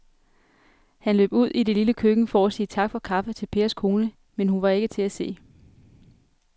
Han løb ud i det lille køkken for at sige tak for kaffe til Pers kone, men hun var ikke til at se.